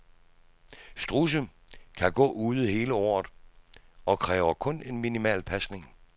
Strudse kan gå ude hele året og kræver kun en minimal pasning.